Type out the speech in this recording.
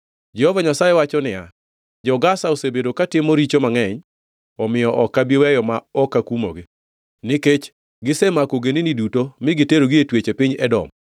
Jehova Nyasaye wacho niya, “Jo-Gaza osebedo katimo richo mangʼeny, omiyo ok abi weyo ma ok akumogi. Nikech gisemako ogendini duto mi giterogi e twech e piny Edom,